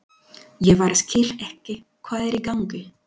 Ég bara skil ekki hvað er í gangi.